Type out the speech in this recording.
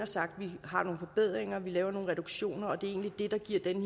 sagt at vi har nogle forbedringer vi laver nogle reduktioner og det er egentlig det der giver den